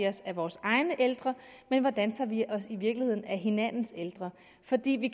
os af vores egne ældre men hvordan vi i virkeligheden af hinandens ældre fordi vi